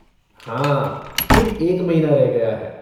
हाँ, ठीक एक महीना रह गया है।